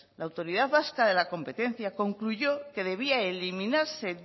la autoridad vasca de la competencia concluyó que debía eliminarse